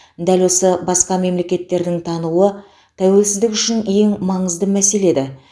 дәл осы басқа мемлекеттердің тануы тәуелсіздік үшін ең маңызды мәселе еді